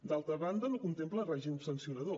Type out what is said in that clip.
d’altra banda no contempla règim sancionador